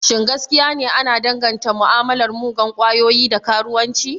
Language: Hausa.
Shin gaskiya ne ana danganta mu'amalar muggan kwayoyi da karuwanci?